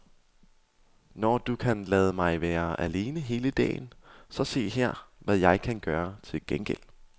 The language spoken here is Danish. Når du kan lade mig være alene hele dagen, så se her, hvad jeg kan gøre til gengæld.